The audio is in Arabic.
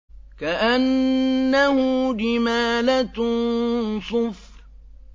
كَأَنَّهُ جِمَالَتٌ صُفْرٌ